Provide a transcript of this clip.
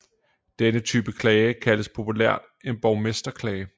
Denne type klage kaldes populært en borgmesterklage